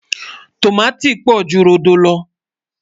tọ̀máti pò jù rodò ló